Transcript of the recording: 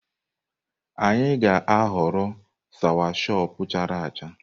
Anyị ga-aghọrọ sawachọpụ chara acha.